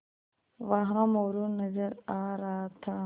वहाँ मोरू नज़र आ रहा था